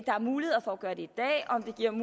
er muligheder for at gøre det et